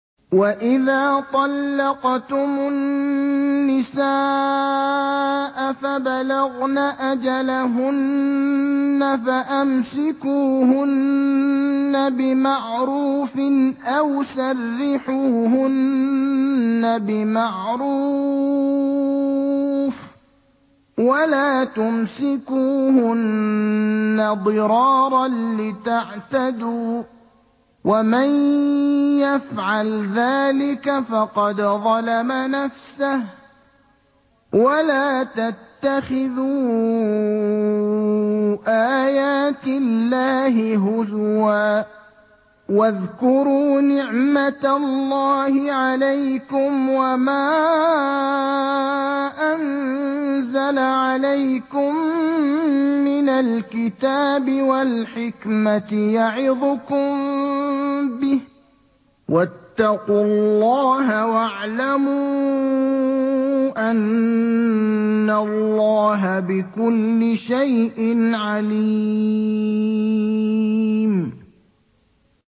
وَإِذَا طَلَّقْتُمُ النِّسَاءَ فَبَلَغْنَ أَجَلَهُنَّ فَأَمْسِكُوهُنَّ بِمَعْرُوفٍ أَوْ سَرِّحُوهُنَّ بِمَعْرُوفٍ ۚ وَلَا تُمْسِكُوهُنَّ ضِرَارًا لِّتَعْتَدُوا ۚ وَمَن يَفْعَلْ ذَٰلِكَ فَقَدْ ظَلَمَ نَفْسَهُ ۚ وَلَا تَتَّخِذُوا آيَاتِ اللَّهِ هُزُوًا ۚ وَاذْكُرُوا نِعْمَتَ اللَّهِ عَلَيْكُمْ وَمَا أَنزَلَ عَلَيْكُم مِّنَ الْكِتَابِ وَالْحِكْمَةِ يَعِظُكُم بِهِ ۚ وَاتَّقُوا اللَّهَ وَاعْلَمُوا أَنَّ اللَّهَ بِكُلِّ شَيْءٍ عَلِيمٌ